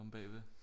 Omme bagved